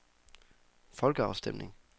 folkeafstemning